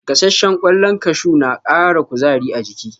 Gasashshen kwallon kashu na kara kuzari a jiki